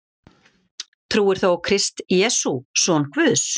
Trúir þú á Krist Jesú, son Guðs,